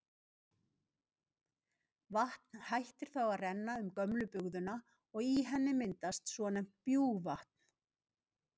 Vatn hættir þá að renna um gömlu bugðuna og í henni myndast svonefnt bjúgvatn.